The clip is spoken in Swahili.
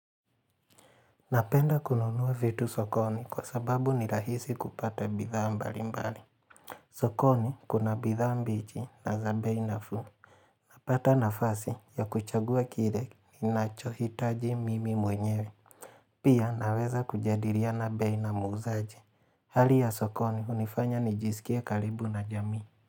Napenda kununua vitu sokoni kwa sababu ni rahisi kupata bidha mbali mbali. Sokoni kuna bidha mbichi na za bei nafuu. Napata nafasi ya kuchagua kile ninachohitaji mimi mwenyewe. Pia naweza kujadiliana bei na muzaji. Hali ya sokoni hunifanya nijisikie karibu na jamii.